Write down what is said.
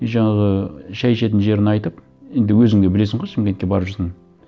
и жаңағы шай ішетін жерін айтып енді өзің де білесің ғой шымкетке барып жүрсің